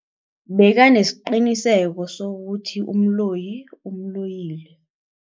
Bekanesiqiniseko sokuthi umloyi umloyile.